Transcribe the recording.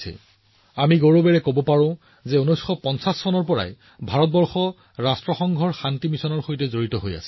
আমি গৌৰৱান্বিত যে ভাৰত ১৯৫০ ৰ দশকৰ পৰা নিৰন্তৰভাৱে ৰাষ্ট্ৰসংঘৰ শান্তি ৰক্ষা অভিযানৰ অংশ হৈ আহিছে